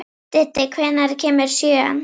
Diddi, hvenær kemur sjöan?